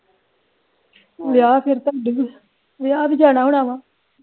ਵਿਆਹ ਵੀ ਜਾਣਾ ਹੋਣਾ ਵਾ